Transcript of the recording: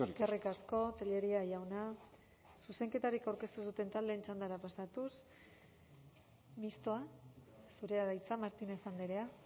eskerrik asko tellería jauna zuzenketarik aurkeztu ez duten taldeen txandara pasatuz mistoa zurea da hitza martínez andrea